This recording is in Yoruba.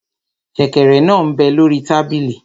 Sẹ̀kẹ̀rẹ̀ náà m bẹ lórí tábìlì